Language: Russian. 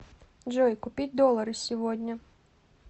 джой купить доллары сегодня